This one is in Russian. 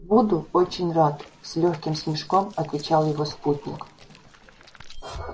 буду очень рад с лёгким смешком отвечал его спутник